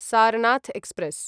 Sarnath express